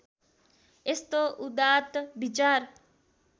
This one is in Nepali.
यस्तो उदात्त विचार